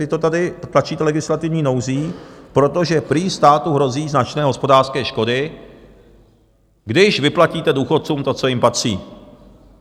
Vy to tady tlačíte legislativní nouzí, protože prý státu hrozí značné hospodářské škody, když vyplatíte důchodcům to, co jim patří.